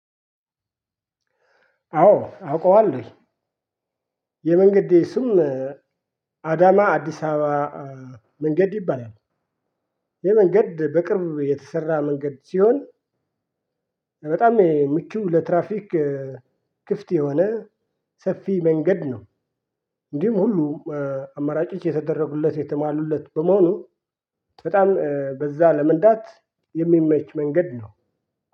አዎ አውቀዋለሁኝ የመንገዴ ስም አዳማ አዲስ አበባ መንገድ ይባላል ይህ መንገድ በቅርብ የተሰራ መንገድ ሲሆን በጣም የምቹ ለትራፊክ ክፍት የሆነ ሰፊ መንገድ ነው። እንዲሁም ሁሉ አማራጭ የተደረጉለት የተሟሉለት በመሆኑ በጣም በዛ ለመንዳት የሚመች መንገድ ነው።